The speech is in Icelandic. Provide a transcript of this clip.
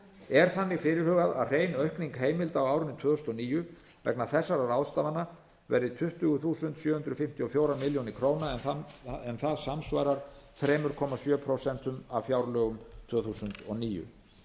er þannig fyrirhugað að hrein aukning heimilda á árinu tvö þúsund og níu vegna þessara ráðstafana verði tuttugu þúsund sjö hundruð fimmtíu og fjórar milljónir króna en það samsvarar þrjú komma sjö prósent af fjárlögum tvö þúsund og níu